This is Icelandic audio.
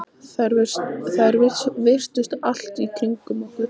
Þær virtust allt í kringum okkur.